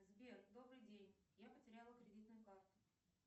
сбер добрый день я потеряла кредитную карту